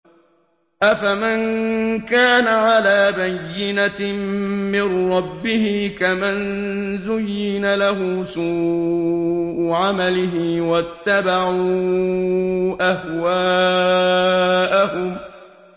أَفَمَن كَانَ عَلَىٰ بَيِّنَةٍ مِّن رَّبِّهِ كَمَن زُيِّنَ لَهُ سُوءُ عَمَلِهِ وَاتَّبَعُوا أَهْوَاءَهُم